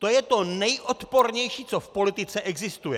To je to nejodpornější, co v politice existuje!